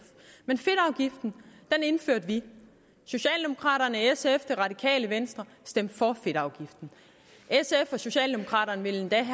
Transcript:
men fedtafgiften indførte vi socialdemokraterne sf og det radikale venstre stemte for fedtafgiften sf og socialdemokraterne ville endda